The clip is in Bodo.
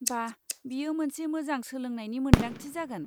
बा! बियो मोनसे मोजां सोलोंनायनि मोनदांथि जागोन।